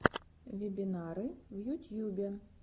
вебинары в ютьюбе